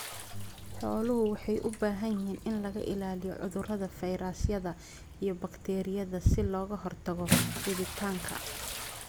Xooluhu waxay u baahan yihiin in laga ilaaliyo cudurrada fayrasyada iyo bakteeriyada si looga hortago fiditaanka.